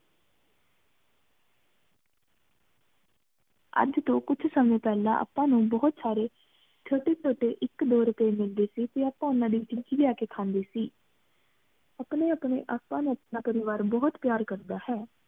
ਅਜ ਤੋ ਕੁਝ ਸੰਯ ਪੇਹ੍ਲਾਂ ਅਪ੍ਪਨ ਨੂ ਬੋਹਤ ਸਾਰੀ ਛੋਟੇ ਛੋਟੇ ਇਕ ਦੋਰੁਪਏ ਮਿਲਦੇ ਸੀ ਤੇ ਆਪਾਂ ਓਹਨਾ ਦੀ ਚੀਜਿ ਲਿਆ ਕੇ ਖਾਂਦੇ ਸੀ ਅਪਣੇ ਅਪਣੇ ਆਪਾਂ ਨੂ ਆਪਣਾ ਪਰਿਵਾਰ ਬੋਹਤ ਪਯਾਰ ਕਰਦਾ ਹੈ